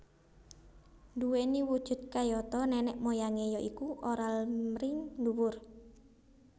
Duweni wujud kayata nenek moyangé ya iku oral mring dhuwur